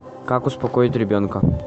как успокоить ребенка